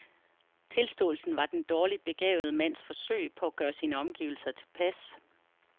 Tilståelsen var den dårligt begavede mands forsøg på at gøre sine omgivelser tilpas.